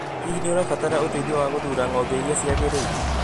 Hihi nĩ ũrabatara ũteithio wa gũthuura ngombe iria ciagĩrĩire?